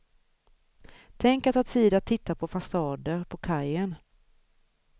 Tänk att ha tid att titta på fasader, på kajen.